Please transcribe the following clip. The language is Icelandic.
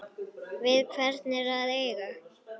Við hvern er að eiga?